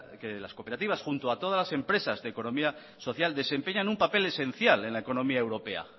que las cooperativas junto a todas las empresas de economía social desempeñan un papel esencial en la economía europea